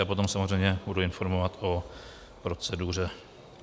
Já potom samozřejmě budu informovat o proceduře.